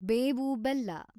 ಬೇವು ಬೆಲ್ಲ